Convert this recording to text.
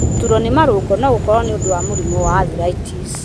Gũturwo nĩ marũngo no gũkorwo nĩ ũndũ wa mĩrimũ ya arthritis.